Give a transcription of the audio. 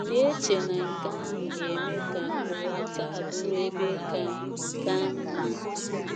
Ị̀ na - eche na nke ahụ ga - eme ka ụwa taa bụrụ ebe ka ka mma?